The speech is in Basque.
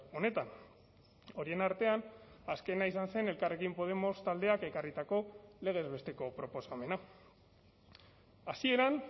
honetan horien artean azkena izan zen elkarrekin podemos taldeak ekarritako legez besteko proposamena hasieran